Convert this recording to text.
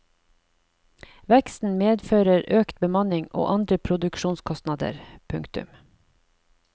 Veksten medfører økt bemanning og andre produksjonskostnader. punktum